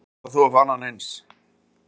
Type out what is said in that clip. Hvar ætlar þú að fá annan eins?